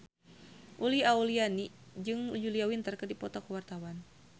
Uli Auliani jeung Julia Winter keur dipoto ku wartawan